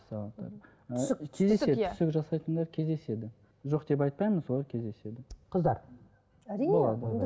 түсік жасайтындар кездеседі жоқ деп айтпаймын солар кездеседі қыздар әрине